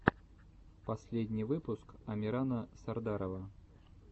последний выпуск амирана сардарова